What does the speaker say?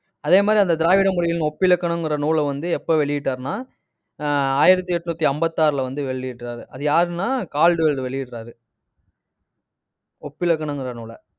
அதே மாதிரி, அந்த திராவிட மொழிகளின், ஒப்பிலக்கணங்கிற நூலை வந்து, எப்ப வெளியிட்டாருன்னா ஆஹ் ஆயிரத்தி எட்நூத்தி ஐம்பத்தாறுல வந்து வெளியிடுறாரு. அது யாருன்னா? கால்டுவெல் வெளியிடறாரு ஒப்பிலக்கணங்கிற நூலை